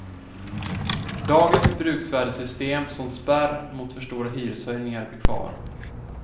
Dagens bruksvärdessystem som spärr mot för stora hyreshöjningar blir kvar.